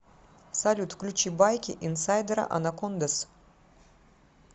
салют включи байки инсайдера анакондаз